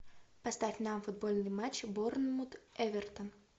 поставь нам футбольный матч борнмут эвертон